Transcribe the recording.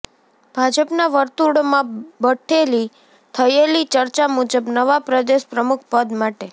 ભાજપના વર્તુળોમાં બઠેલી થયેલી ચર્ચા મુજબ નવા પ્રદેશ પ્રમુખ પદ માટે